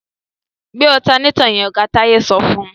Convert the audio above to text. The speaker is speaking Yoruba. Gbé ọ̀tanátọ̀ yẹn! Oga Táyé sọ fún.